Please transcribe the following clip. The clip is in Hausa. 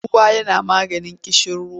Ruwa yana maganin ƙishiruwa.